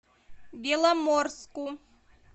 беломорску